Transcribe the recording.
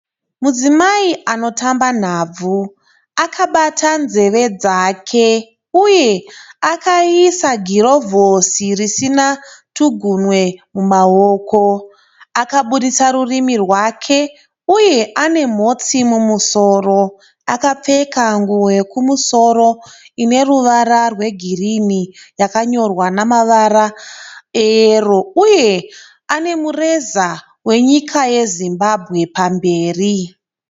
Mudzimai anotamba nhabvu. Akabata nzeve dzake uye akaisa girovhosi risina tugumwe mumaoko. Akaburitsa rurimi rwake uye ane mhotsi mumusoro. Akapfeka nguo yekumusoro ine ruvara rwegirini yakanyorwa namavara eyero uye ane mureza wenyika yeZimbabwe pamberi.